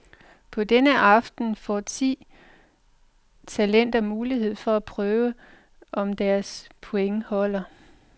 På denne aften får ti talenter mulighed for at prøve, om deres pointer holder.